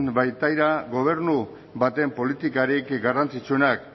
baitira gobernu baten politikarik garrantzitsuenak